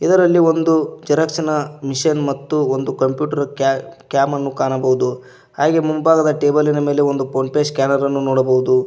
ಇದರಲ್ಲಿ ಒಂದು ಜೆರಾಕ್ಸಿನ ಮಿಷನ್ ಮತ್ತು ಒಂದು ಕಂಪ್ಯೂಟರ್ ಕ್ಯಾಮ್ ಅನ್ನು ಕಾಣಬಹುದು ಹಾಗೆ ಮುಂಭಾಗದ ಟೇಬಲಿ ನ ಮೇಲೆ ಫೋನ್ ಪೇ ಸ್ಕ್ಯಾನರ್ ಅನ್ನು ನೋಡಬಹುದು.